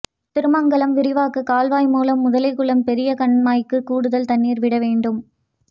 திருமங்கலம் விரிவாக்க கால்வாய் மூலம் முதலைக்குளம் பெரிய கண்மாய்க்கு கூடுதல் தண்ணீர் விட வேண்டும்